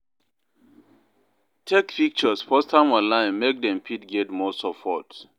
Take pictures post am online make dem fit get more support